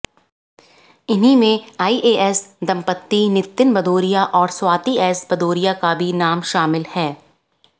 इन्हीं में आईएएस दंपत्ति नितिन भदौरिया और स्वाती एस भदौरिया का भी नाम शामिल है